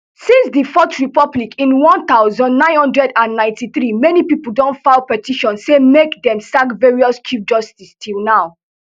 since di fourth republic in one thousand, nine hundred and ninety-three many pipo don file petition say make dem sack various chief justices till now